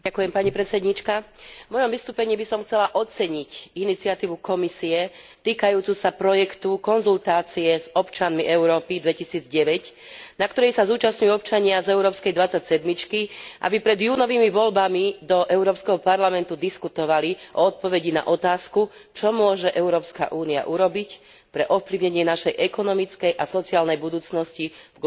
V mojom vystúpení by som chcela oceniť iniciatívu Komisie týkajúcu sa projektu Konzultácie s občanmi Európy 2009, na ktorej sa zúčastňujú občania z európskej dvadsaťsedmičky, aby pred júnovými voľbami do Európskeho parlamentu diskutovali o odpovedi na otázku Čo môže Európska únia urobiť pre ovplyvnenie našej ekonomickej a sociálnej budúcnosti v globalizovanom svete?